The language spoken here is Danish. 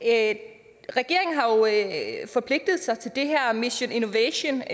at lave forpligtet sig til den her mission innovation